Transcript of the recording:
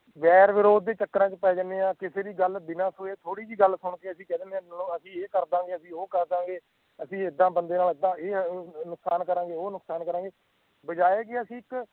ਰ ਵਰੋਧ ਦੇ ਚੱਕਰਾਂ ਚ ਪਏ ਜਾਣੇ ਕਿ ਜੇੜੀ ਗੱਲ ਬਿਨਾਂ ਸੋਚੇ ਥੋੜੀ ਗੱਲ ਸੁਨ ਕੇ ਅਸੀਂ ਕੇ ਦੀਨੇ ਅਸੀਂ ਏਹ ਕਰਦਾ ਗਏ ਅਸੀਂ ਉਹ ਕਰਦਾ ਗਏ ਅਸੀਂ ਏਦਾਂ ਬੰਦੇ ਨਾਲ ਅਸੀਂ ਏ ਨੁਕਸਾਨ ਕਰਾ ਗਏ ਅਸੀਂ ਓਹ ਨੁਕਸਾਨ ਕਰਾ ਗਏ ਬਜਾਏ ਜੀ ਅਸੀਂ ਇੱਕ